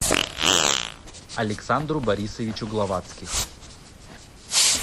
александру борисовичу главатских